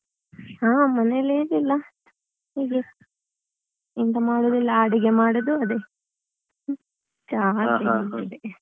ಹಾ ಮನೆಯಲ್ಲಿ ಏನಿಲ್ಲ ಹೀಗೆ ಎಂತ ಮಾಡುದು ಇಲ್ಲಾ ಅಡುಗೆ ಮಾಡುದು ಅದೇ .